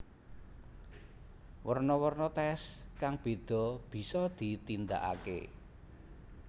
Werno werno tes kang bedha bisa ditindake